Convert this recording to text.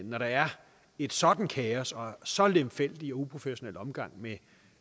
når der er et sådant kaos og en så lemfældig og uprofessionel omgang med